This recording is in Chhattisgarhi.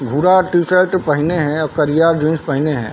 भुरा टी -शर्ट पहिने हे आऊ करिया जीन्स पहिने हे।